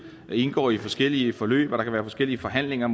indgår i forskellige forløb og at der kan være forskellige forhandlinger